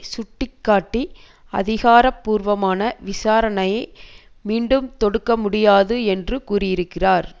சுட்டி காட்டி அதிகாரபூர்வமான விசாரணையை மீண்டும் தொடுக்க முடியாது என்று கூறியிருக்கிறார்